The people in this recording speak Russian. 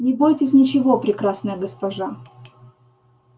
не бойтесь ничего прекрасная госпожа